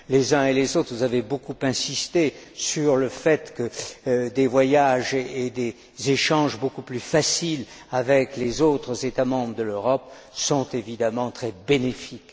Les uns et les autres, vous avez beaucoup insisté sur le fait que des voyages et des échanges beaucoup plus faciles avec les autres États membres de l'Europe sont évidemment très bénéfiques.